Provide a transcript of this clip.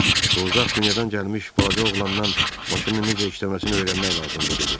Bu uzaq dünyadan gəlmiş balaca oğlandan maşının necə işləməsini öyrənmək lazımdır, dedi.